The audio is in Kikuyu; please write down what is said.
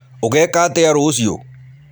Ũgeeka atĩa rũciũ?